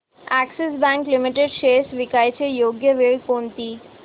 Axis bank limited shares विकण्याची योग्य वेळ कोणती